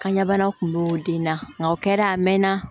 Kanɲɛ bana kun b'o den na nka o kɛra a mɛnna